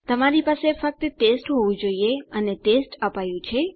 તમારી પાસે ફક્ત ટેસ્ટ હોવું જોઈએ અને ટેસ્ટ અપાયું છે